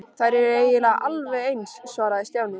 Þær eru eiginlega alveg eins svaraði Stjáni.